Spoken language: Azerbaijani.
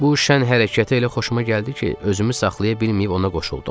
Bu şən hərəkəti elə xoşuma gəldi ki, özümü saxlaya bilməyib ona qoşuldum.